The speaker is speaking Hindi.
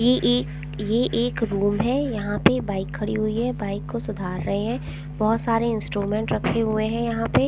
ये एक ये एक रूम हैं यहाँ पे बाइक खड़ी हुई हैं बाइक को सुधार रहे हैं बहुत सारे इंस्ट्रूमेंट रखे हुए हैं यहाँ पे --